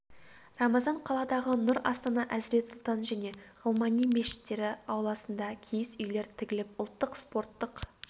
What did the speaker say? рамазан қаладағы нұр астана әзірет сұлтан және ғылмани мешіттері ауласында киіз үйлер тігіліп ұлттық спорттық